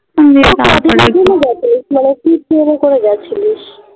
গেছে মানে তুই train এ করে গেছিলিস